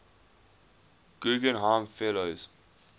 guggenheim fellows